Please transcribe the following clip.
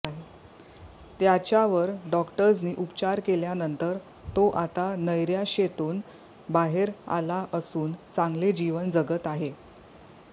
त्याच्यावर डॉक्टर्सनी उपचार केल्यानंतर तो आता नैराश्येतून बाहेर आला असून चांगले जीवन जगत आहे